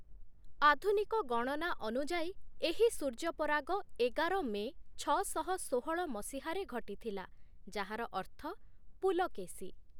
ଆଧୁନିକ ଗଣନା ଅନୁଯାୟୀ, ଏହି ସୂର୍ଯ୍ୟପରାଗ ଏଗାର ମେ ଛଅଶହ ଷୋହଳ ମସିହାରେ ଘଟିଥିଲା, ଯାହାର ଅର୍ଥ "ପୁଲକେଶୀ" ।